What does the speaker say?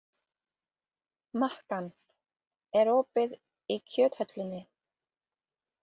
Makan, er opið í Kjöthöllinni?